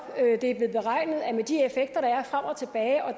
det er blevet beregnet at med de effekter der er frem og tilbage og